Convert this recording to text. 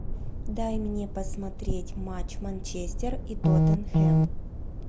дай мне посмотреть матч манчестер и тоттенхэм